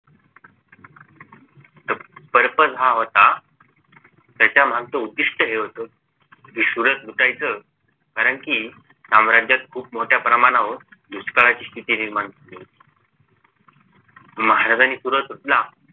purpose हा होता त्याच्या मगच उद्धिष्ट हे होत सुरत लुटायच कारण कि साम्राज्यात खूप मोठ्या प्रमाणावर दुष्काळाची स्थिती निर्माण झाली होती महाराजांनी सुरत लुटला